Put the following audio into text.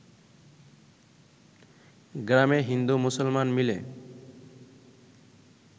গ্রামে হিন্দু-মুসলমান মিলে